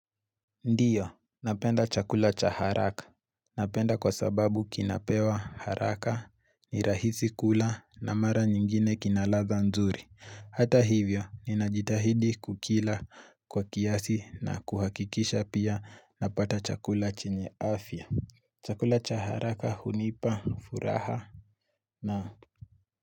Ndiyo, napenda chakula cha haraka. Napenda kwa sababu kinapewa haraka, ni rahisi kula na mara nyingine kinaladha nzuri. Hata hivyo, ninajitahidi kukila kwa kiasi na kuhakikisha pia napata chakula chenye afya. Chakula cha haraka hunipa, furaha, naam.